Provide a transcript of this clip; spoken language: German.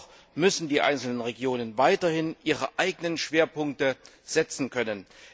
Dennoch müssen die einzelnen Regionen weiterhin ihre eigenen Schwerpunkte setzen können.